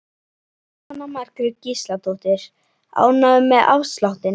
Jóhanna Margrét Gísladóttir: Ánægður með afsláttinn?